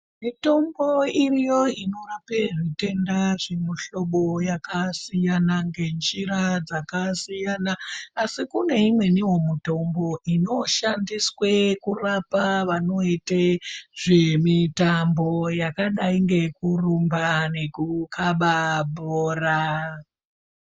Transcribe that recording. Mitombo iriyo inorape zvitenda zvemihlobo yakasiyana ngenjira dzakasiyana, asi kune imweniwo mitombo inoshandiswe kurapa vanoite zvemitambo yakadai ngekurumba nekukaba bhora.